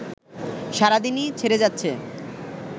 সারাদিনই ছেড়ে যাচ্ছে